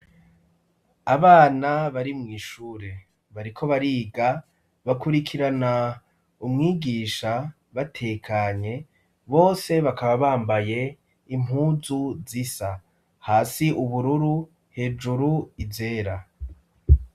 Abana bari mw' ishure, bariko bariga bakurikirana umwigisha batekanye; bose bakaba bambaye impunzu zisa: hasi ubururu hejuru izera.